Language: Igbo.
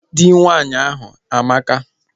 Dị nwaanyị ahụ amaka